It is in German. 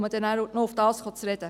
Darauf komme ich noch zu sprechen.